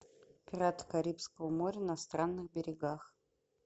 пираты карибского моря на странных берегах